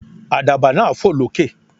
Àdàbà náà fò lókè.